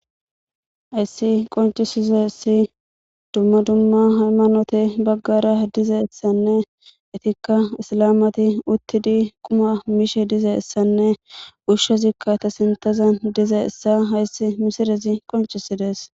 Hayssi qoncisizessi dumma dumma haymanote baggara dizeeessanne etikka isalamati uttidi quma miishe dizeessanne ushshezikka ta sintazan dize issa hayssi misirezi qoncisidees.